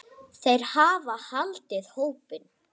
Þeir hafa haldið hópinn.